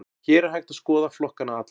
Hér er hægt að skoða flokkana alla.